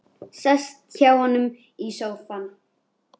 Sest hjá honum í sófann.